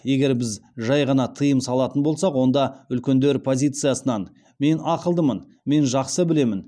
егер біз жай ғана тыйым салатын болсақ онда үлкендер позициясынан мен ақылдымын мен жақсы білемін